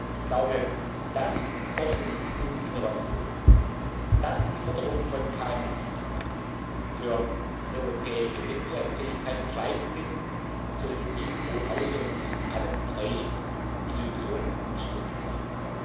Ich glaube, dass Forschung und Innovation, dass die Förderung von KMU für die europäische Wettbewerbsfähigkeit entscheidend sind, sollte in diesem Hohen Hause und zwischen allen drei Institutionen unstrittig sein.